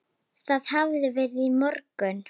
Það hafði verið í morgun.